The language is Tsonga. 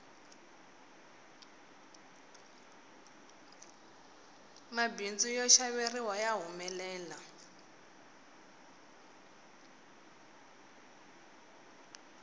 mabindzu yo xaveriwa ya humelela